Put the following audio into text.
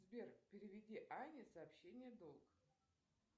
сбер переведи ане сообщение долг